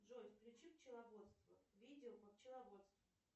джой включи пчеловодство видео по пчеловодству